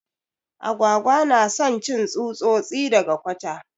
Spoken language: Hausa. Agwagwa na son cin tsutsosi daga kwata.